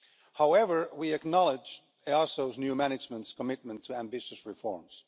However, we acknowledged EASO's new management's commitment to ambitious reforms.